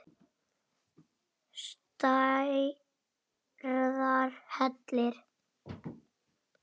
Stærðar hellir?